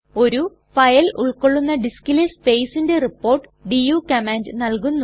ഒരു ഫയൽ ഉൾകൊള്ളുന്ന ഡിസ്കിലെ സ്പേസ്ന്ന്റെ റിപ്പോർട്ട് ഡു കമാൻഡ് നല്കുന്നു